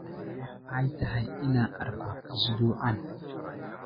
waxa ay tahay inaan arko usbuucan